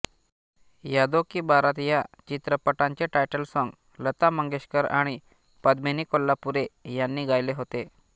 यादों की बारात या चित्रपटाचे टायटल सॉंग लता मंगेशकर आणि पद्मिनी कोल्हापुरे यांनी गायले होते